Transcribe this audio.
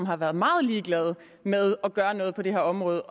har været ret ligeglade med at gøre noget på det her område